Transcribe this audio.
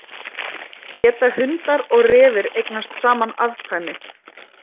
Geta hundar og refir eignast saman afkvæmi?